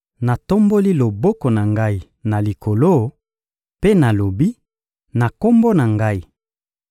Natomboli loboko na Ngai na likolo, mpe nalobi: Na Kombo na Ngai,